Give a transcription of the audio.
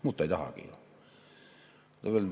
Muud ta ei tahagi ju.